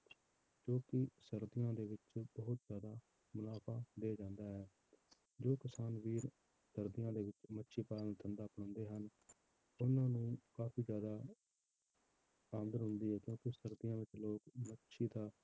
ਕਿਉਂਕਿ ਸਰਦੀਆਂ ਵਿੱਚ ਬਹੁਤ ਜ਼ਿਆਦਾ ਮੁਨਾਫ਼ਾ ਦੇ ਜਾਂਦਾ ਹੈ, ਜੋ ਕਿਸਾਨ ਵੀਰ ਸਰਦੀਆਂ ਦੇ ਵਿੱਚ ਮੱਛੀਪਾਲਣ ਦਾ ਧੰਦਾ ਅਪਣਾਉਂਦੇ ਹਨ ਉਹਨਾਂ ਨੂੰ ਕਾਫ਼ੀ ਜ਼ਿਆਦਾ ਆਮਦਨ ਹੁੰਦੀ ਹੈ ਕਿਉਂਕਿ ਸਰਦੀਆਂ ਵਿੱਚ ਲੋਕ ਮੱਛੀ ਦਾ